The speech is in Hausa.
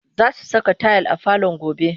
Za su saka tayil a falon gobe